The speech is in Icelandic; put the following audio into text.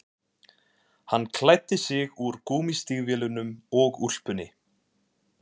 Hann klæddi sig úr gúmmístígvélunum og úlpunni